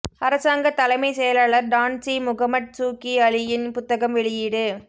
அரசாங்க தலைமை செயலாளர் டான்ஸ்ரீ முகமட் சூகி அலியின் புத்தகம் வெளியீடு